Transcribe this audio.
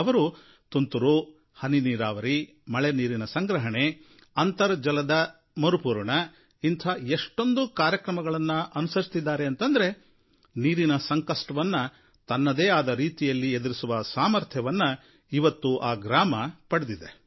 ಅವರು ತುಂತುರು ಹನಿನೀರಾವರಿ ಮಳೆನೀರಿನ ಸಂಗ್ರಹಣೆ ಅಂತರ್ಜಲ ಮರುಪೂರಣ ಇಂಥ ಎಷ್ಟೊಂದು ಕ್ರಮಗಳನ್ನು ಅನುಸರಿಸಿದ್ದಾರೆ ಅಂತಂದ್ರೆ ನೀರಿನ ಸಂಕಷ್ಟವನ್ನು ತನ್ನದೇ ಆದ ರೀತಿಯಲ್ಲಿ ಎದುರಿಸುವ ಸಾಮರ್ಥ್ಯವನ್ನು ಇವತ್ತು ಈ ಗ್ರಾಮ ಪಡೆದಿದೆ